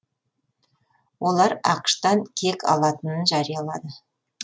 олар ақш тан кек алатынын жариялады